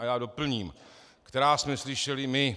A já doplním: Která jsme slyšeli my.